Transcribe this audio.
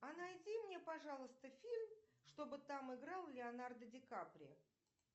а найди мне пожалуйста фильм чтобы там играл леонардо ди каприо